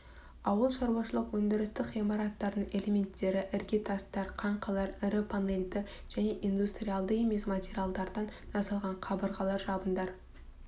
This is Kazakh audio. ауыл шаруашылық өндірістік ғимараттардың элементтері іргетастар қаңқалар ірі панельді және индустриалды емес материалдардан жасалған қабырғалар жабындар